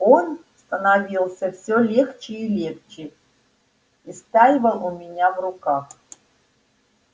он становился всё легче и легче истаивал у меня в руках